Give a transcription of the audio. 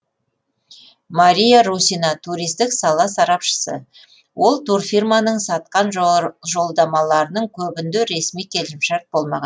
мария русина туристік сала сарапшысы ол турфирманың сатқан жолдамаларының көбінде ресми келісімшарт болмаған